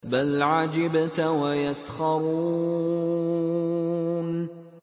بَلْ عَجِبْتَ وَيَسْخَرُونَ